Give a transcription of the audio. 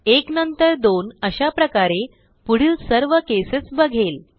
1 नंतर 2 अशाप्रकारे पुढील सर्व केसेस बघेल